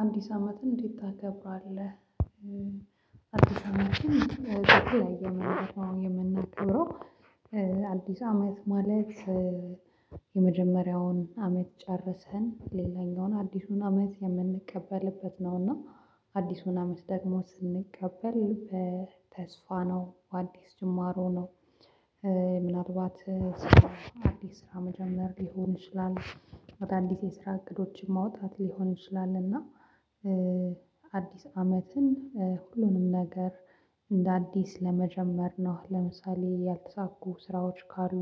አንዲስ አመትን እንዴት ታከብራለህ? አዲስ አመትን በተለያየ መንገድ ነው የምናከብረው። አዲስ አመት ማለት። የመጀመሪያውን አመት ጨርሰን ሌላኛውን አዲሱን አመት የምንቀበልበት ነውና። አዲሱን አመት ደግሞ ስንቀበል ተስፋ ነው አዲስ ጅማሮ ነው። ምናልባት ስራ አዲስ ስራ መጀመር ሊሆን ይችላል። አዳዲስ የስራ እቅዶችን ማውጣት ሊሆን ይችላል እና። አዲስ አመትን ሁሉንም ነገር እንደ አዲስ ለመጀመር ነው። ለምሳሌ ያልተሳኩ ስራዎች ካሉ።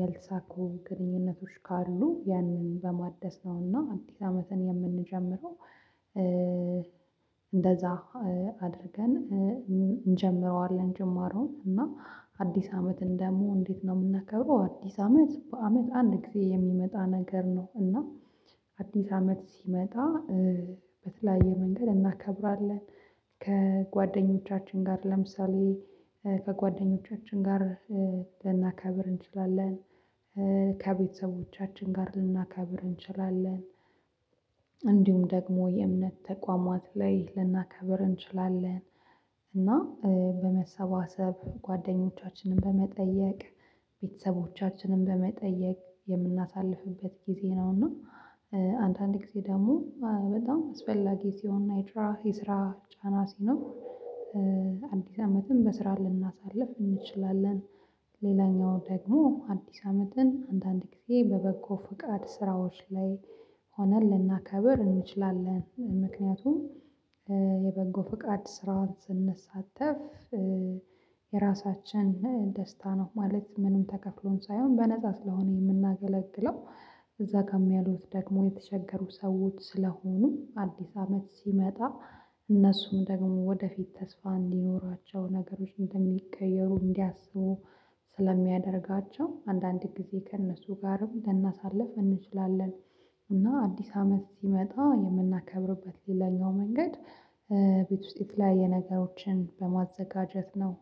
ያልተሳኩ ግንኙነቶች ካሉ ያንን በማደስ ነውና አዲስ አመትን የምንጀምረው እንደዛ። አድርገን እንጀምረዋለን ጅማሮውን። እና አዲስ አመትን ደግሞ እንዴት ነው የምናከብረው? አዲስ አመት በአመት አንድ ጊዜ የሚመጣ ነገር ነው። እና አዲስ አመት ሲመጣ በተለያየ መንገድ እናከብራለን። ከጓደኞቻችን ጋር ለምሳሌ ከጓደኞቻችን ጋር ልናከብር እንችላለን። ከቤተሰቦቻችን ጋር ልናከብር እንችላለን። እንዲሁም ደግሞ የእምነት ተቋማት ላይ ልናከብር እንችላለን። እና በመሰባሰብ ጓደኞቻችንን በመጠየቅ ቤተሰቦቻችንን በመጠየቅ የምናሳልፍበት ጊዜ ነውና። አንዳንድ ጊዜ ደግሞ በጣም አስፈላጊ ሲሆን ናይድራ የስራ ጫና ሲኖር። አዲስ አመትን በስራ ልናሳልፍ እንችላለን። ሌላኛው ደግሞ አዲስ አመትን አንዳንድ ጊዜ በበጎ ፍቃድ ስራዎች ላይ ሆነን ልናከብር እንችላለን ምክንያቱም። የበጎ ፍቃድ ስራውን ስንሳተፍ የራሳችን ደስታ ነው ማለት ምንም ተከፍሎን ሳይሆን በነፃ ስለሆነ የምናገለግለው። እዛ ጋር ያሉት ደግሞ የተቸገሩ ሰዎች ስለሆኑ አዲስ አመት ሲመጣ እነሱም ደግሞ ወደፊት ተስፋ እንዲኖራቸው ነገሮች እንደሚቀየሩ እንዲያስቡ። ስለሚያደርጋቸው አንዳንድ ጊዜ ከእነሱ ጋርም ልናሳልፍ እንችላለን። እና አዲስ አመት ሲመጣ የምናከብርበት ሌላኛው መንገድ። ቤት ውስጥ የተለያየ ነገሮችን በማዘጋጀት ነው።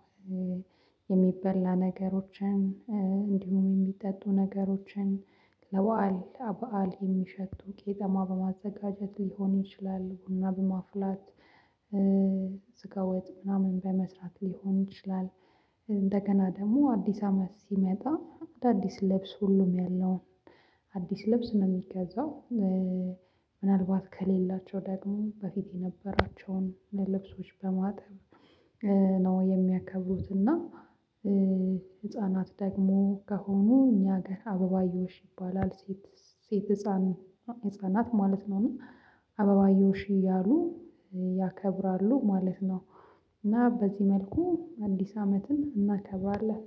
የሚበላ ነገሮችን የሚጠጡ ነገሮችን ለባአል አባአል የሚሸቱ ቄጠማ በማዘጋጀት ሊሆን ይችላል። ቡና በማፍላት። ስጋወጥ ምናምን በመስራት ሊሆን ይችላል። እንደገና ደግሞ አዲስ አመት ሲመጣ አዳዲስ ልብስ ሁሉም ያለውን አዲስ ልብስ ነው የሚገዛው። ምናልባት ከሌላቸው ደግሞ በፊት የነበራቸውን ልብሶች በማጠብ ነው የሚያከብሩት። እና ህፃናት ደግሞ ከሆኑ እኛ ጋር አበባዮሽ ይባላል ሴት ሴት ህፃን ህፃናት ማለት ነው እና አበባዮሽ እያሉ ያከብራሉ ማለት ነው። እና በዚህ መልኩ አዲስ አመትን እናከብራለን